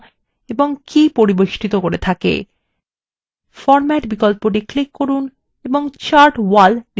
chart এলাকা format করার জন্য format বিকল্পটি click করুন এবং chart wall নির্বাচন করুন